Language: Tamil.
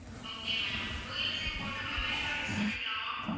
okay ma'am dual sim போட்டா memory card use பண்ணிக்கலாமா?